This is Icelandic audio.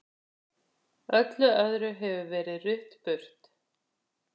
Öllu öðru hefur verið rutt burt.